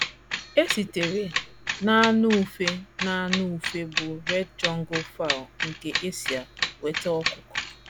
E sitere n’anụ ufe n’anụ ufe bụ́ red jungle fowl nke Esia nweta ọkụkọ.